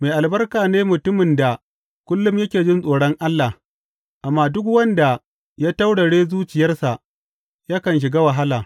Mai albarka ne mutumin da kullum yake jin tsoron Allah, amma duk wanda ya taurare zuciyarsa yakan shiga wahala.